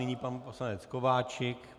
Nyní pan poslanec Kováčik.